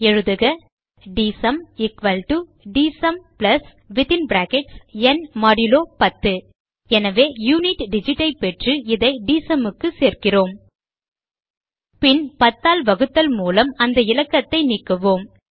எழுதுக D S U M D S U M ந் 10 எனவே யுனிட் digit ஐ பெற்று இதை dsum க்கு சேர்க்கிறோம் பின் 10 ஆல் வகுத்தல் மூலம் அந்த இலக்கத்தை நீக்குவோம்